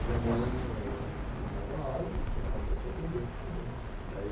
Minha mãe eh da dava aula, mas era uma pessoa presente também. E aí